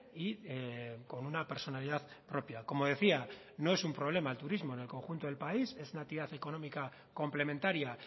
y con una personalidad propia como decía no es un problema el turismo en el conjunto del país es una actividad económica complementaria